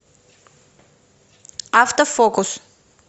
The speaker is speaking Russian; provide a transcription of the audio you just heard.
автофокус